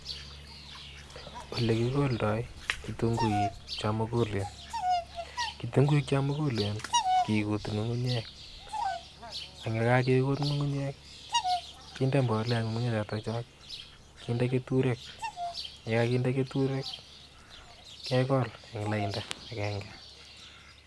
Olekikoldoi kitung'uik chomukulen, kitung'uik chomukulen kikutu ng'ung'unyek ak yekakikut ng'ung'unyek kinde mbolea ng'ung'unye choto, kinde keturek, yekakinde keturek kekol en lainda akeng'e.